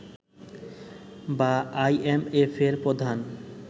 বা আইএমএফের প্রধান